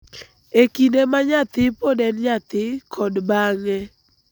e kinde ma nyathi pod en nyathi kod bang�e.